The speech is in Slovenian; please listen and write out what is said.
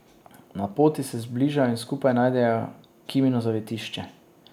Na poti se zbližajo in skupaj najdejo Kimino zavetišče.